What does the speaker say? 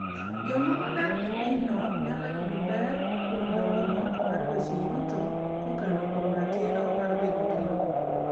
Joma odak e pinyno nyalo yudo ber kuom dongruok mar weche yuto kokalo kuom ratiro mar bedo gi lowo.